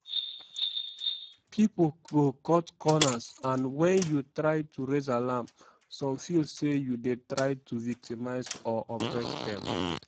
"pipo go cut corners and wen you try to raise alarm some feel say you dey try to victimise or oppress dem.